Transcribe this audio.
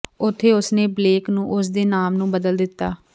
ਉੱਥੇ ਉਸ ਨੇ ਬਲੇਕ ਨੂੰ ਉਸ ਦੇ ਨਾਮ ਨੂੰ ਬਦਲ ਦਿੱਤਾ